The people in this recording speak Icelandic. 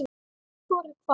Hvor er hvað?